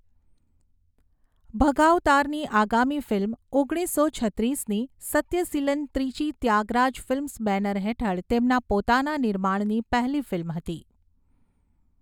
ભગાવતારની આગામી ફિલ્મ, ઓગણીસો છત્રીસની 'સત્યસીલન' ત્રિચી ત્યાગરાજ ફિલ્મ્સ બેનર હેઠળ તેમના પોતાના નિર્માણની પહેલી ફિલ્મ હતી.